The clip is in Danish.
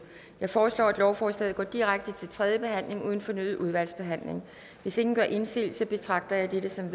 jeg foreslår at lovforslaget går direkte til tredje behandling uden fornyet udvalgsbehandling hvis ingen gør indsigelse betragter jeg dette som